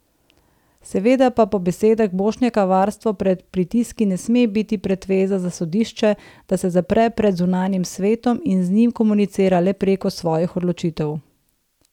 Seveda pa po besedah Bošnjaka varstvo pred pritiski ne sme biti pretveza za sodišče, da se zapre pred zunanjim svetom in z njim komunicira le preko svojih odločitev.